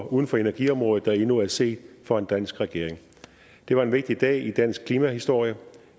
uden for energiområdet der endnu er set fra en dansk regering det var en vigtig dag i dansk klimahistorie